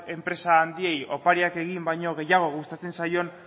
enpresa handiei opariak egin baino gustatzen zaion